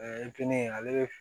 kelen ale